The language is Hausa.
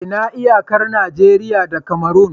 Ina iyakar Najeriya da Cameron?